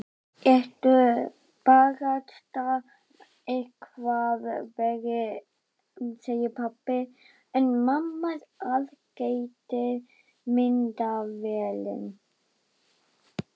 Ertu barasta eitthvað verri, segir pabbi en mamma aðgætir myndavélina.